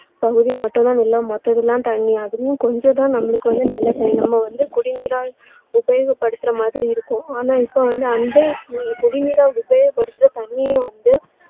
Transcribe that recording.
பகுதி மட்டும் தான் நிலம் மத்தது எல்லாம் தண்ணீர் அதுவும் கொஞ்சம் தான் நம்மளுக்கு வந்து நல்ல நம்ம வந்து குடிநீரா உபயோகப்படுத்துற மாதிரி இருக்கும் ஆனா இப்போ வந்து அந்த குடிநீரா உபயோக படுத்துற தண்ணீரும் வந்து